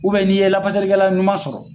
n'i ye lafasalikɛla ɲuman sɔrɔ.